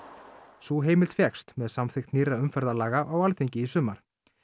sú heimild fékkst með samþykkt nýrra umferðarlaga á Alþingi í sumar